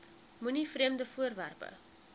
moenie vreemde voorwerpe